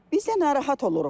Biz də narahat oluruq.